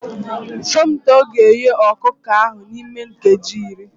Somto ga-eghe ọkụkọ ahụ n'ime nkeji iri